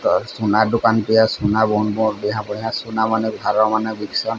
ସୁନା ଦୋକାନ ଟେ ସୁନା ଘର ମାନେ --